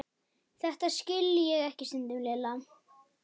Þetta skil ég ekki stundi Lilla.